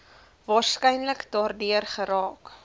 waarskynlik daardeur geraak